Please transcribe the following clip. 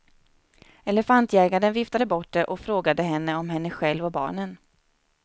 Elefantjägarn viftade bort det och frågade henne om henne själv och barnen.